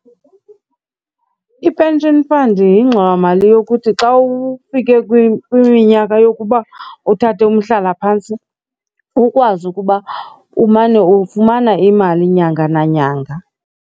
I-pension fund yingxowamali yokuthi xa ufike kwiminyaka yokuba uthathe umhlalaphantsi ukwazi ukuba umane ufumana imali nyanga nanyanga.